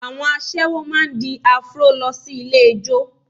Àwọn aṣẹ́wó máa di Afro lọ sí ilé ijó